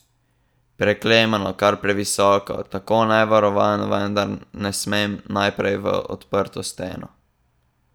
Preklemano, kar previsoko, tako nevarovan vendar ne smem naprej v odprto steno.